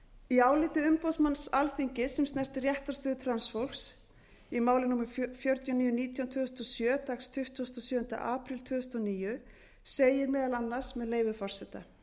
í áliti umboðsmanns alþingis sem snertir réttarstöðu transfólks í máli númer fjögur þúsund níu hundruð og nítján tvö þúsund og sjö dagsett tuttugasta og sjöunda apríl tvö þúsund og níu segir meðal annars með leyfi forseta